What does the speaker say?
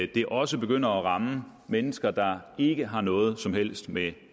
det også begynder at ramme mennesker der ikke har noget som helst med